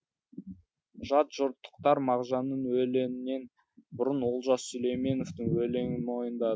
жат жұрттықтар мағжанның өлеңінен бұрын олжас сүлейменовтың өлеңін мойындады